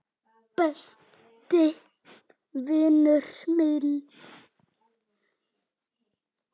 Besti vinur minn.